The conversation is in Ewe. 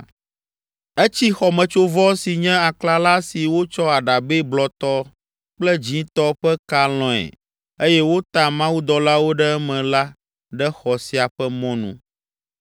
Etsi xɔmetsovɔ si nye aklala si wotsɔ aɖabɛ blɔtɔ kple dzĩtɔ ƒe ka lɔ̃e eye wota mawudɔlawo ɖe eme la ɖe xɔ sia ƒe mɔnu.